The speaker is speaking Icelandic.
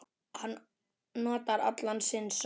Hann notar allan sinn sann